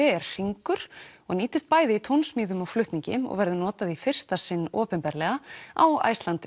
er hringur og nýtist bæði í tónsmíðum og flutningi og verður notað í fyrsta sinn opinberlega á Iceland